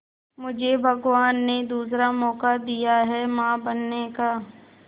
मुझे भगवान ने दूसरा मौका दिया है मां बनने का